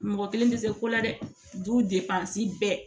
Mɔgɔ kelen tɛ se ko la dɛ du bɛɛ